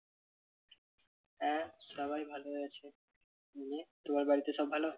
হ্যাঁ সবাই ভালো আছে। তুমি তোমার বাড়িতে সব ভালো?